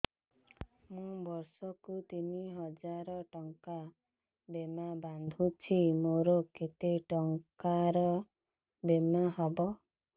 ମୁ ବର୍ଷ କୁ ତିନି ହଜାର ଟଙ୍କା ବୀମା ବାନ୍ଧୁଛି ମୋର କେତେ ଟଙ୍କାର ବୀମା ହବ